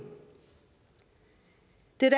det er